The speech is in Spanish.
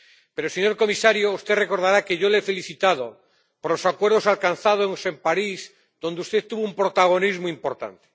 Pero, señor comisario, usted recordará que yo le he felicitado por los acuerdos alcanzados en París, donde usted tuvo un protagonismo importante.